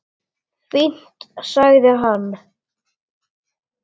Fínt- sagði hann.